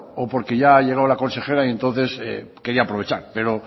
o porque ya ha llegado la consejera y entonces quería aprovechar pero